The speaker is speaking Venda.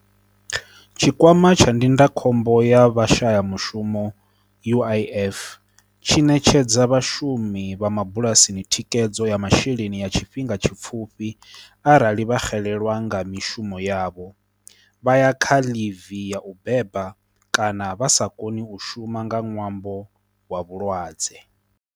Tshikwama tsha ndindakhombo ya vha shaya mushumo uif, tshi ṋetshedza vhashumi vha mabulasini thikhedzo ya masheleni ya tshifhinga tshipfhufhi upfhi arali vha xelelwa nga mishumo yavho, vha ya kha livi ya u beba kana vha sa koni u shuma nga ṅwambo wa vhulwadze.